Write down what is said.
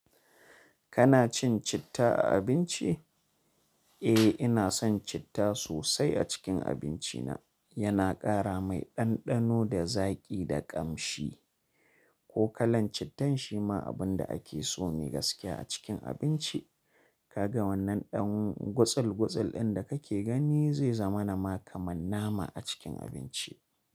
Kana cin citta a abinci? Eh, ina son citta sosai a cikin abinci na. Yana ƙara mai ɗanɗano, da zaƙi, da ƙamshi. Ko kalan cittan shi ma abun da ake so mi gaskiya a cikin abinci. Kaga wannan ɗan gutsul gutsul ɗin da kake gani zai zama na ma kamar nama a cikin abinci.